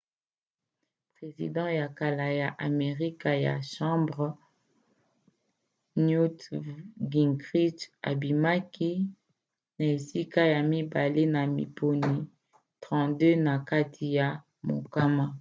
president ya kala ya amerika ya chambre newt gingrich abimaki na esika ya mibale na maponi 32 na kati ya mokama